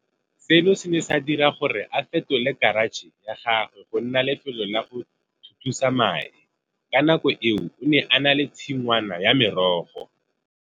Seno se ne sa dira gore a fetole karatšhe ya gagwe go nna lefelo la go thuthusa mae. Ka nako eo o ne a na le tshingwana ya merogo.